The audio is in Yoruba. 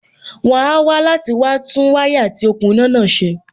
wón á wá láti wá tún wáyà àti òkun iná náà ṣe.